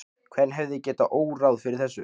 Hvern hefði getað órað fyrir þessu?